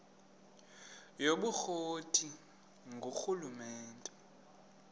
yobukro ti ngurhulumente